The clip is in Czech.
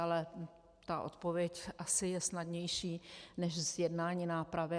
Ale ta odpověď asi je snadnější než zjednání nápravy.